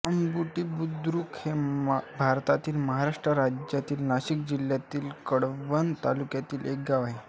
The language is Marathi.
अंबुर्डीबुद्रुक हे भारताच्या महाराष्ट्र राज्यातील नाशिक जिल्ह्यातील कळवण तालुक्यातील एक गाव आहे